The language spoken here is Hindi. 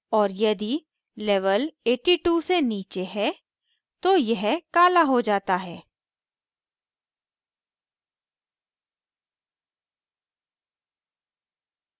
और यदि level 82 से नीचे है तो यह कला हो जाता है